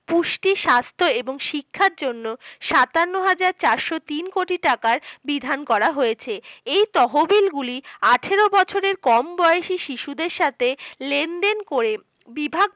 পুষ্টি স্বাস্থ্য এবং শিক্ষার জন্য সাতান্ন হাজার চারশ তিন কোটি টাকার বিধান করা হয়েছে এই তহবিল গুলি আঠের বছরের কম বয়সী শিশুদের সাথে লেনদেন করে বিভাগ